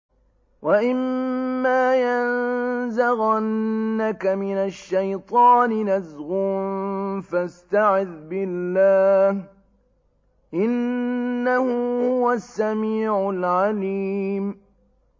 وَإِمَّا يَنزَغَنَّكَ مِنَ الشَّيْطَانِ نَزْغٌ فَاسْتَعِذْ بِاللَّهِ ۖ إِنَّهُ هُوَ السَّمِيعُ الْعَلِيمُ